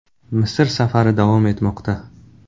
Misr safari davom etmoqda.